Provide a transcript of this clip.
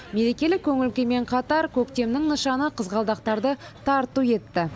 мерекелік көңіл күймен қатар көктемнің нышаны қызғалдақтарды тарту етті